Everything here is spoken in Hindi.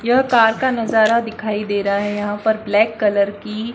यह कार का नजारा दिखाई दे रहा है यहां पर ब्लैक कलर की--